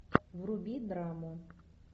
вруби драму